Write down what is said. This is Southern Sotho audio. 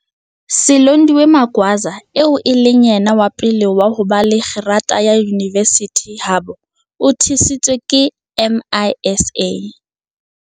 Silondiwe Magwaza, eo e leng yena wa pele wa ho ba le kgerata ya yunivesithi habo, o thusitswe ke MISA.